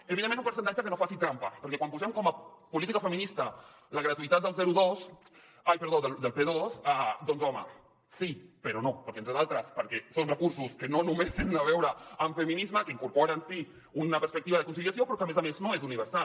evidentment un percentatge que no faci trampa perquè quan posem com a política feminista la gratuïtat del p2 doncs home sí però no perquè entre d’altres són recursos que no només tenen a veure amb feminisme que incorporen sí una perspectiva de conciliació però que a més a més no és universal